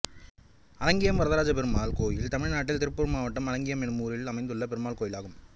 அலங்கியம் வரதராஜபெருமாள் கோயில் தமிழ்நாட்டில் திருப்பூர் மாவட்டம் அலங்கியம் என்னும் ஊரில் அமைந்துள்ள பெருமாள் கோயிலாகும்